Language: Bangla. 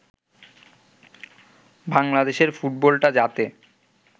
বাংলাদেশের ফুটবলটা যাতে